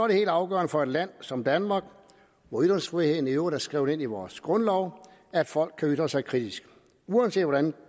det helt afgørende for et land som danmark hvor ytringsfriheden i øvrigt er skrevet ind i vores grundlov at folk kan ytre sig kritisk uanset hvordan